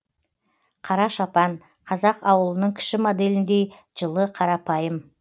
қара шапан қазақ ауылының кіші моделіндей жылы қарапайым